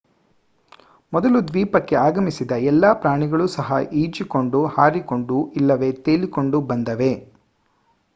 ಮೊದಲು ದ್ವೀಪಕ್ಕೆ ಆಗಮಿಸಿದ ಎಲ್ಲಾ ಪ್ರಾಣಿಗಳು ಸಹ ಈಜಿಕೊಂಡು ಹಾರಿಕೊಂಡು ಇಲ್ಲವೇ ತೇಲಿಕೊಂಡು ಬಂದವೇ